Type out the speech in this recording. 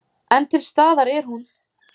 En til staðar er hún.